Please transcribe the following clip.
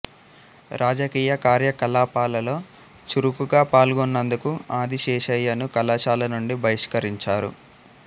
రాజకీయ కార్యకలాపాలలో చురుకుగా పాల్గొన్నందుకు ఆదిశేషయ్యను కళాశాల నుండి బహిష్కరించారు